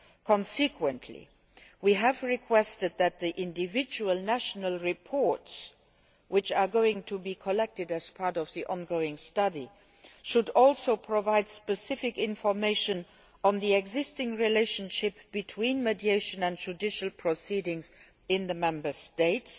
Consequently, we have requested that the individual national reports which will be collected as part of the ongoing study should also provide specific information on the existing relationship between mediation and judicial proceedings in the Member States.